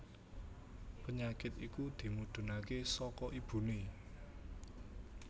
Penyakit iku dimudhunaké saka ibuné